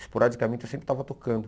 Esporadicamente, eu sempre estava tocando.